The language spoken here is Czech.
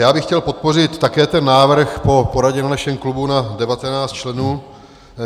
Já bych chtěl podpořit také ten návrh po poradě v našem klubu na 19 členů.